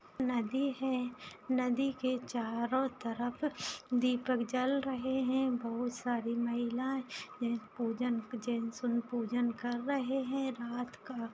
नदी है नदी के चारों तरफ दीपक जल रहे है बहुत सारी महिला पूजन कर रहे है रात का --